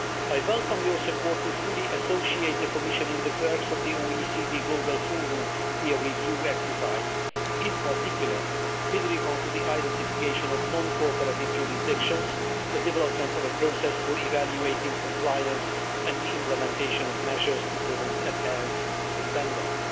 I welcome your support to fully associate the Commission in the works of the OECD Global Forum peer review exercise, in particular, with regard to the identification of non cooperative jurisdictions, the development of a process for evaluating compliance and the implementation of measures to promote adherence to the standards.